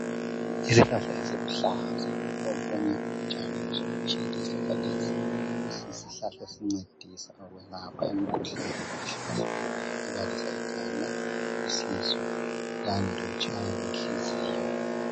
Isihlahla esiluhlaza okunye butshani osobutshile. Isihlahla lesi esincedisa ukulapha imikhuhlane ehlukahlukeneyo ebalisa ikhanda, isisu kanye lokutshaywa kwenhliziyo.